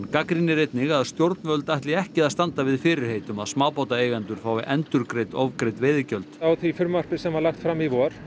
gagnrýnir einnig að stjórnvöld ætli ekki að standa við fyrirheit um að smábátaeigendur fái endurgreidd ofgreidd veiðigjöld á því frumvarpi sem var lagt fram í vor